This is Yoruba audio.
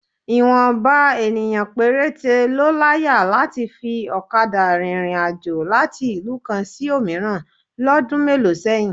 Ìwọ̀nba ènìyàn péréte ló láyà láti fi ọ̀kadà rìnrìn àjò láti ìlú kan sí òmíràn lọ́dún mélòó sẹ́yìn